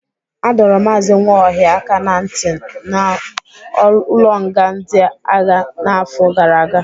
Adọro Maazị Nwaohia aka ná ntị n'ụlọnga ndị agha n'afọ gara aga.